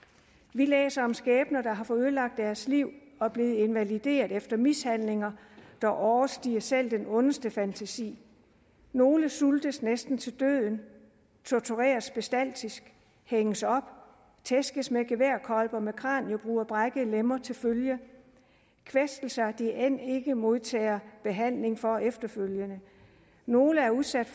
vi læser om skæbner der har fået ødelagt deres liv og er blevet invalideret efter mishandlinger der overstiger selv den ondeste fantasi nogle sultes næsten til døden tortureres bestialsk hænges op tæskes med geværkolber med kraniebrud og brækkede lemmer til følge kvæstelser de end ikke modtager behandling for efterfølgende nogle er udsat